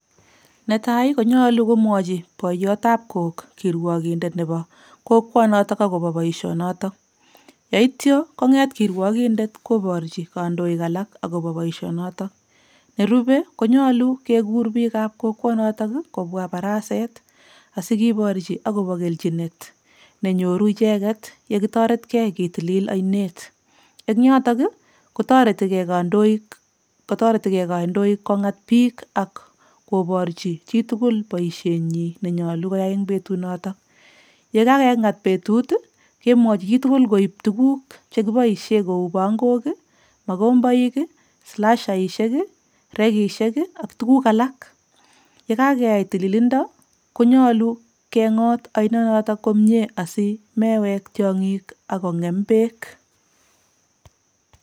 Netai konyolu komwochi boiyotab kook kirwokindet nebo kokwonotok akobo boisionotok, yaityo konget kirwokindet koborchi kandoik alak akobo boisionotok, nerube konyolu kekur piikab kokwonotok ii kobwa baraset asi keborchi akobo kelchinet nenyoru icheket ye kitoretkei ketilil ainet, eng yotok ii kotoretikei kandoik kongat piik ak koborchi chitugul boisienyi nenyolu koyai eng betunoto, ye ka kengat betut ii, kemwochi chi tugul koib tuguk che kiboisie kou pangok ii, makomboik ii, slashaisiek ii, rekishek ii ak tuguk alak, ye kakeai tililindo konyolu kengot ainonotok komie asi mewek tiongik ako ngem beek.